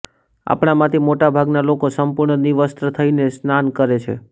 આપણા માંથી મોટા ભાગના લોકો સંપૂર્ણ નિર્વસ્ત્ર થઇને સ્નાન કરે છે